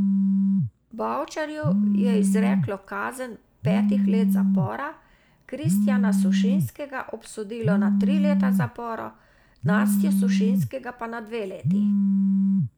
Bavčarju je izreklo kazen petih let zapora, Kristjana Sušinskega obsodilo na tri leta zapora, Nastjo Sušinskega pa na dve leti.